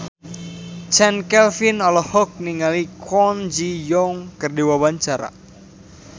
Chand Kelvin olohok ningali Kwon Ji Yong keur diwawancara